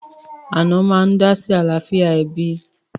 Ànọ́ máa ń dá sí àlàáfíà ẹbí